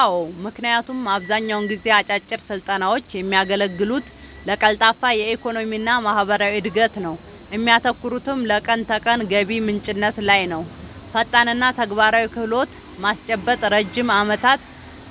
አዎ ምክንያቱም አብዛኛውን ጊዜ አጫጭር ስልጠናውች የሚያገለግሉት ለቀልጣፋ የኢኮኖሚና ማህበራዊ እድገት ነው እሚያተኩሩትም ለቀን ተቀን ገቢ ምንጭነት ላይ ነውፈጣንና ተግባራዊ ክህሎት ማስጨበጥ ረጅም ዓመታት